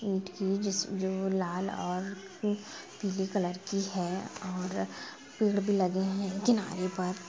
ईट की जिसकी जो लाल और पीले कलर कि है और पेड़ भी लगे हैं किनारे पर--